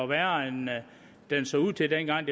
værre end den så ud til dengang